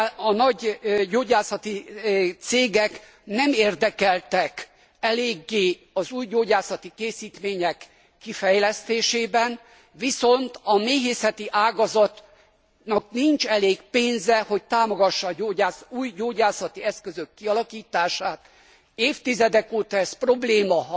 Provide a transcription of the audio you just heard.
A nagy gyógyászati cégek nem érdekeltek eléggé az új gyógyászati készítmények kifejlesztésében, viszont a méhészeti ágazatnak nincs elég pénze, hogy támogassa az új gyógyászati eszközök kialakítását. Évtizedek óta ez probléma.